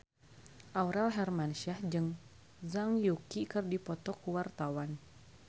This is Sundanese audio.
Aurel Hermansyah jeung Zhang Yuqi keur dipoto ku wartawan